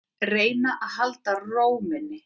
Reyna að halda ró minni.